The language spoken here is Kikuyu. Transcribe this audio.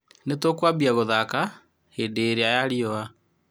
" Nĩ tũkũambia gũthaka hĩndĩ ĩrĩa ya rĩũa?